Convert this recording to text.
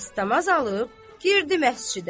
Dəstəmaz alıb, girdi məscidə.